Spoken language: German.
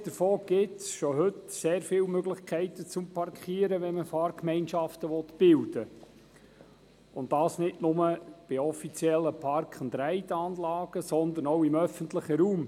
Abgesehen davon gibt es bereits heute sehr viele Möglichkeiten zum Parkieren, wenn man Fahrgemeinschaften bilden will, und das nicht bloss bei offiziellen Park-and-ride-Anlagen, sondern auch im öffentlichen Raum.